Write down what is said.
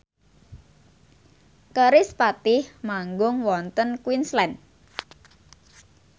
kerispatih manggung wonten Queensland